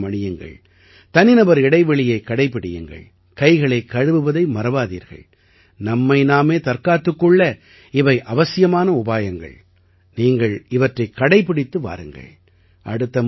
முகக்கவசம் அணியுங்கள் தனிநபர் இடைவெளியைக் கடைப்பிடியுங்கள் கைகளைக் கழுவுவதை மறவாதீர்கள் நம்மை நாமே தற்காத்துக் கொள்ள இவை அவசியமான உபாயங்கள் நீங்கள் இவற்றைக் கடைப்பிடித்து வாருங்கள்